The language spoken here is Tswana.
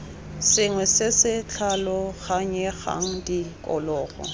sengwe se se tlhaloganyegang tikologo